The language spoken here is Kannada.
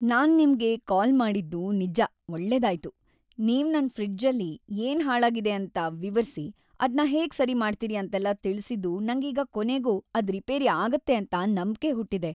ನಾನ್‌ ನಿಮ್ಗೆ ಕಾಲ್ ಮಾಡಿದ್ದು ನಿಜ್ಜ ಒಳ್ಳೆದಾಯ್ತು - ನೀವ್‌ ನನ್‌ ಫ್ರಿಡ್ಜಲ್ಲಿ ಏನ್‌ ಹಾಳಾಗಿದೆ ಅಂತ ವಿವರ್ಸಿ ಅದ್ನ ಹೇಗ್‌ ಸರಿ ಮಾಡ್ತೀರಿ ಅಂತೆಲ್ಲ ತಿಳ್ಸಿದ್ದು ನಂಗೀಗ ಕೊನೆಗೂ ಅದ್ ರಿಪೇರಿ ಆಗತ್ತೆ‌ ಅಂತ ನಂಬ್ಕೆ ಹುಟ್ಟಿದೆ.